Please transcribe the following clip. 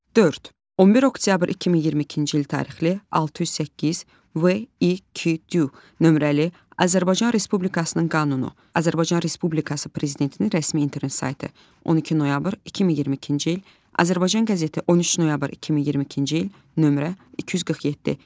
Dörd. 11 oktyabr 2022-ci il tarixli, 608, VİQD nömrəli Azərbaycan Respublikasının qanunu, Azərbaycan Respublikası Prezidentinin rəsmi internet saytı, 12 noyabr 2022-ci il, Azərbaycan qəzeti, 13 noyabr 2022-ci il, nömrə 247.